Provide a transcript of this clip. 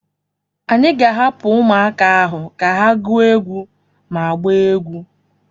Anyị ga-ahapụ ahụ ka ha gụọ egwu ma gbaa egwu.